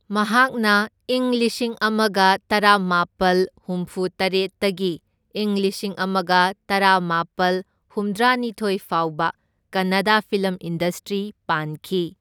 ꯃꯍꯥꯛꯅ ꯏꯪ ꯂꯤꯁꯤꯡ ꯑꯃꯒ ꯇꯔꯥꯃꯥꯄꯜ ꯍꯨꯝꯐꯨꯇꯔꯦꯠꯇꯒꯤ ꯢꯪ ꯂꯤꯁꯤꯡ ꯑꯃꯒ ꯇꯔꯥꯃꯥꯄꯜ ꯍꯨꯝꯗ꯭ꯔꯥꯅꯤꯊꯣꯢ ꯐꯥꯎꯕ ꯀꯟꯅꯥꯗ ꯐꯤꯂꯝ ꯏꯟꯗꯁꯇ꯭ꯔꯤ ꯄꯥꯟꯈꯤ꯫